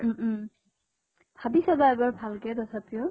উম উম ভাবি চাবা এবাৰ ভালকে তথাপিও।